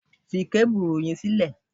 Fi kábùrù yẹn sílẹ̀!